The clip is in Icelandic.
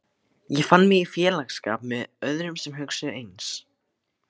Ég fann mig í félagsskap með öðrum sem hugsuðu eins.